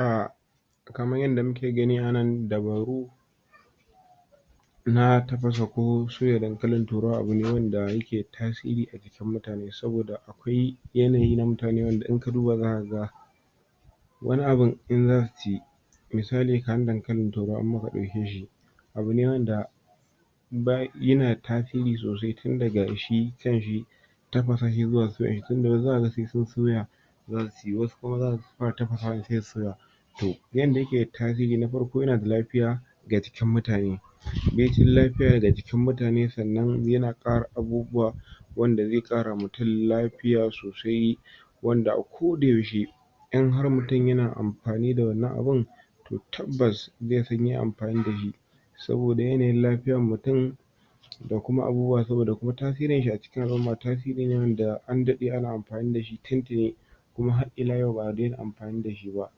um Kaman yadda muke gani anan dabaru na tafasa ko soya dankalin turawa abune wanda yake ta’siri ajikin mutane saboda akwai yanayi na mutane inka duba zaka ga ga wani abun inganci misali kaman dankalin turawa in muka daukeshi abune wanda yana tasiri sosai tin daga shi sanshi tafasa shi zuwa tinga zakaga wasu sai sin soya zasuyi wasu kuma zasu fara tafasawa ne sai su soya to yanda yake tasiri na farko yana da lafiya ga jikin mutane baicin lafiya ga jikin mutane sannan yana kara abubuwa abubuwa wanda zai kara ma mutun lafiya sosai wanda a koda yaushe in har mutin yana amfani da wannan abin to tabbas zai san yayi amfani da shi saboda yanayin lafiyan mutin dakuma abubuwa saboda ko tasirin shi acikin al’umma tasirine wanda an dade ana amfani dashi tin tini har ila yau ba daina amfani dashi ba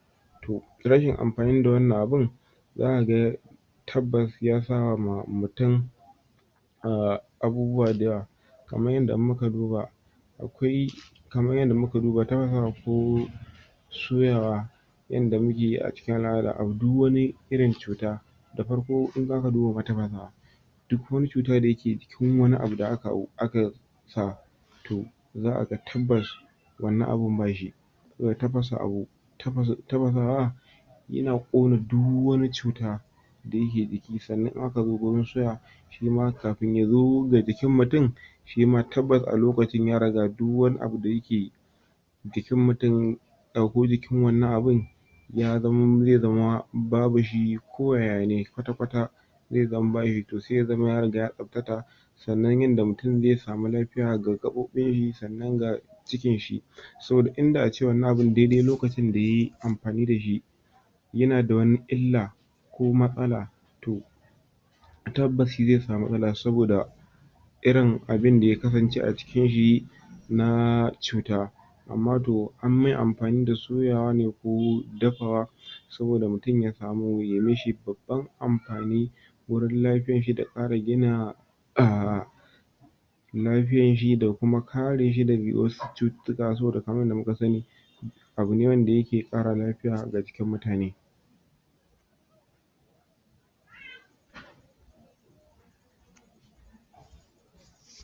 to rashin amfani da wannan abin zaka ga ga tabbas yasa ma mutin um abubuwa dayawa kaman yadda in muka duba akwai kaman yadda in muka duba soy soyawa inda mukeyi acikin al’ada duk wani irin cuta da farko in zaka duba tafasawa duk wani cuta dayake cikin wani abu da aka sa sa to zakaga tabbas wannan abin ba shi saboda tafasa tafasa wa yana kona duk wani cuta dayake jiki sannan in aka zo gurin sha shima kafin yazo ga jikin mutin shima tabbas a lokacin yariga dik wani abu dayake jikin mutin ko jikin wannan abin ya zamo zai zama babu shi ko yayane kwatakwata zai zama bashi to sai zama ya riga ya tsaftata sannan yanda mutin zai samu lafiya ga gabobin shi sannan ga chikin shi soda inda ace wannan abin daidai lokacin da yayi amfani dashi yana da wani illa ko matsala to tabbas shi zai sami matsala saboda irin abinda ya kasance acikinshi na cuta amma to an mai amfani da soyawane ko dafawa saboda mutin ya mishi babban amfani wurin lafiyan shi da karin gina um lafiyan shi da kuma kareshi da wasu cututtuka sabida kaman yadda muka sani wanda yake kara lafiya ga jikin mutane